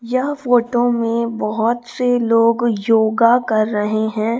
यह फोटो में बहुत से लोग योगा कर रहे हैं।